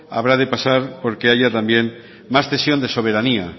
habrá de pasar porque haya también más cesión de soberanía